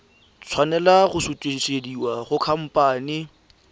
tshwanela go sutisediwa go khamphane